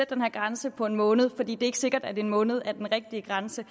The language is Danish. den her grænse på en måned for det er ikke sikkert at en måned er den rigtige grænse